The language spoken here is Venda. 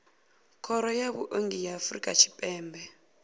khoro ya vhuongi ya afrika tshipembe